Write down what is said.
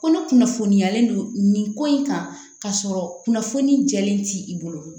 Kɔnɔ kunnafoniyalen don nin ko in kan ka sɔrɔ kunnafoni jɛlen ti i bolo